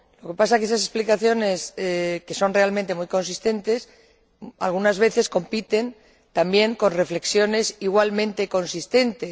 lo que pasa es que esas explicaciones, que son realmente muy consistentes, algunas veces compiten también con reflexiones igualmente consistentes.